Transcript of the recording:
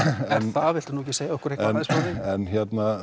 það viltu ekki segja okkur eitthvað